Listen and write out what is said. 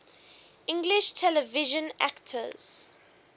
english television actors